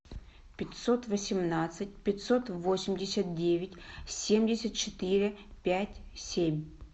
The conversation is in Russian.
пятьсот восемнадцать пятьсот восемьдесят девять семьдесят четыре пять семь